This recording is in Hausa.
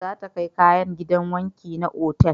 Za ta kai kayan gidan wanki na otal